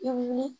I ni